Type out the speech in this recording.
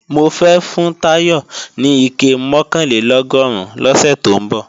Mofẹ́ fún Táyọ̀ ní ike mọ̀kànlélọ́gọ́rùn lọ́sẹ̀ tó ń bọ̀